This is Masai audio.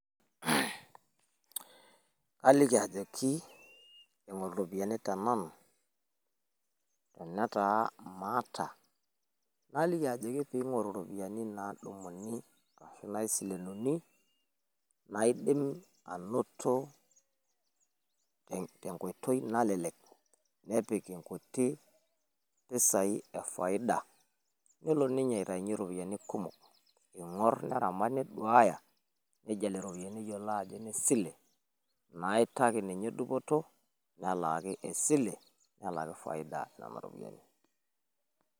Aliki ajoki ing'oru irropiyiani te nanu, tenetaa maata naliki ajoki pee ing'oru irropiyiani naadumuni ashu naisilenuni. Naidim anoto te nkoitoi nalelek nepik nkuti pisai e faida. Nelo ninye aitaunyie irropiyiani kumok. Ing'orr neramat neduaya nejil irropiyiani ajo nnesile naitaki ninye dupoto nelaaki esile nelaaki faida nena ropiyiani.